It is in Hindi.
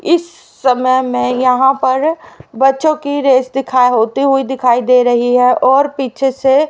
इस समय मैं यहां पर बच्चों की रेस दिखाएं होते हुए दिखाई दे रही है और पीछे से--